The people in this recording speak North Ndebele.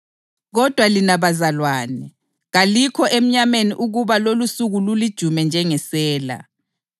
Kodwa lina bazalwane, kalikho emnyameni ukuba lolusuku lulijume njengesela.